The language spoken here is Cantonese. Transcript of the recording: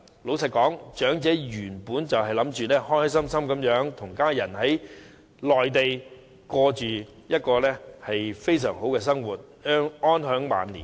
老實說，長者原本打算開開心心地跟家人在內地度過非常美好的生活，安享晚年。